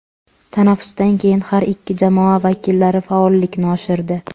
Tanaffusdan keyin har ikki jamoa vakillari faollikni oshirdi.